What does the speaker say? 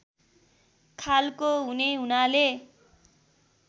खालको हुने हुनाले